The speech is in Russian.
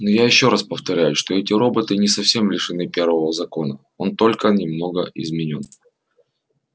но я ещё раз повторяю что эти роботы не совсем лишены первого закона он только немного изменён